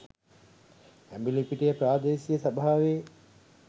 ඇඹිලිපිටිය ප්‍රාදේශීය සභාවේ